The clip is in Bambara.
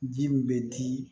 Ji min bɛ di